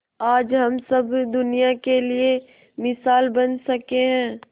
आज हम सब दुनिया के लिए मिसाल बन सके है